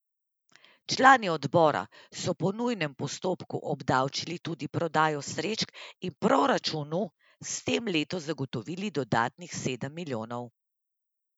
Člani odbora so po nujnem postopku obdavčili tudi prodajo srečk in proračunu s tem letos zagotovili dodatnih sedem milijonov.